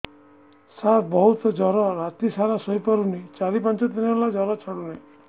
ସାର ବହୁତ ଜର ରାତି ସାରା ଶୋଇପାରୁନି ଚାରି ପାଞ୍ଚ ଦିନ ହେଲା ଜର ଛାଡ଼ୁ ନାହିଁ